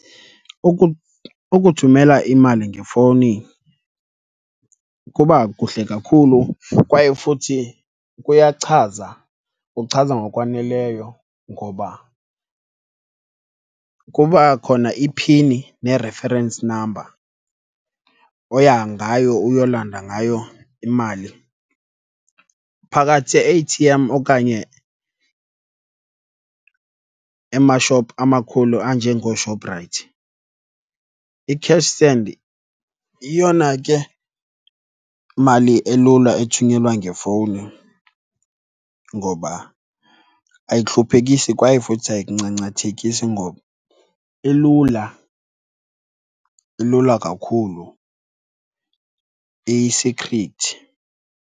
Ukuthumela imali ngefowuni kuba kuhle kakhulu kwaye futhi kuyachaza, kuchaza ngokwaneleyo. Ngoba kuba khona i-pin ne-reference number oya ngayo uyolanda ngayo imali phakathi e-A_T_M okanye emashophu amakhulu anjengooShoprite. I-cash send yeyona ke mali elula ethunyelwa ngefowuni ngoba ayikuhluphekisi kwaye futhi ayikuncancathekisi ngoba ilula, ilula kakhulu iyisikhrithi.